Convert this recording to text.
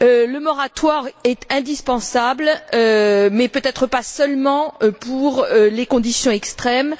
Le moratoire est indispensable, mais peut être pas seulement pour les conditions extrêmes